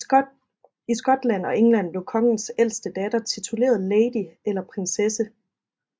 I Skotland og England blev kongens ældste datter tituleret lady eller prinsesse